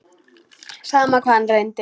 Sama hvað hann reyndi.